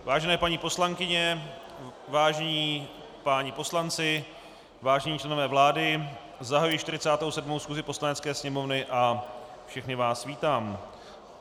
Vážené paní poslankyně, vážení páni poslanci, vážení členové vlády, zahajuji 47. schůzi Poslanecké sněmovny a všechny vás vítám.